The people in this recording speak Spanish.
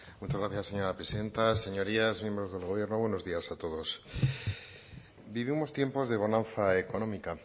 muchas gracias señora presidenta señorías miembros del gobierno buenos días a todos vivimos tiempos de bonanza económica